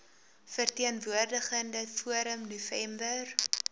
verteenwoordigende forum november